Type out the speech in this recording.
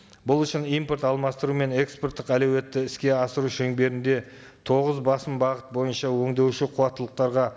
бұл үшін импорт алмастыру мен экспорттық әлеуетті іске асыру шеңберінде тоғыз басым бағыт бойынша өндеуші қуаттылықтарға